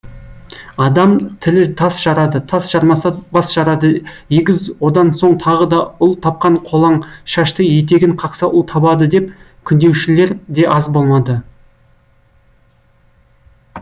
адам тілі тас жарады тас жармаса бас жарады егіз одан соң тағы ұл тапқан қолаңшашты етегін қақса ұл табады деп күндеушілер де аз болмады